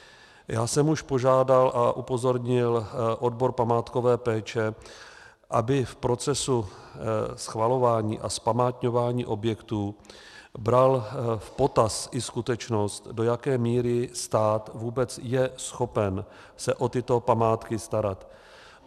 Já jsem už požádal a upozornil odbor památkové péče, aby v procesu schvalování a zpamátňování objektů bral v potaz i skutečnost, do jaké míry stát vůbec je schopen se o tyto památky starat.